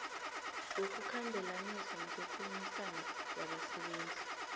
wokukhambelanisa nokukhulumisana wabasebenzi